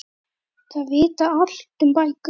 Þeir vita allt um bækur.